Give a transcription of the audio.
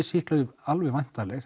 sýklalyf alveg væntanleg